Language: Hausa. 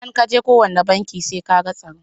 Idan ka je kowane banki sai ka ga tsaro.